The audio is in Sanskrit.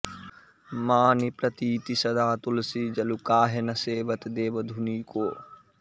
मानि प्रतीति सदा तुलसी जलु काहे न सेवत देवधुनीको